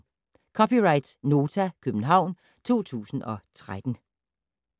(c) Nota, København 2013